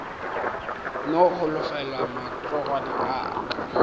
no holofela matsogwana a aka